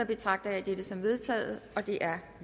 betragter jeg det som vedtaget det er